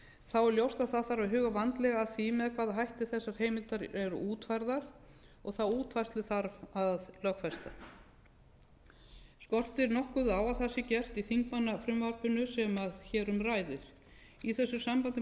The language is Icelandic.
þá er ljóst að það þarf að huga vandlega að því með hvaða hætti þessar heimildir eru útfærðar og þá útfærslu þarf að lögfesta skortir nokkuð á að það sé gert í þingmannafrumvarpinu sem hér um ræðir í þessu sambandi má